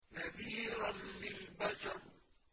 نَذِيرًا لِّلْبَشَرِ